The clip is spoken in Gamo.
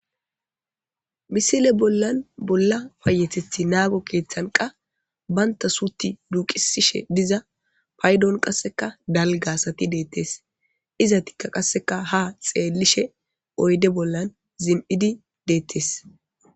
misile bollan bolla fayetethi naago keeththanqa baynta suuti duuqisishe diza paydon qasseka dalgasati deettes izatikka qasseka ha xeellishe oyde bollan zim7idi deettes